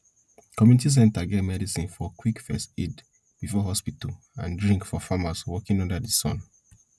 community center get medicine for quick first aid before hospital and drink for farmers working under the sun